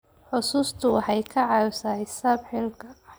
Xusuustu waxay caawisaa xisaab xidhka.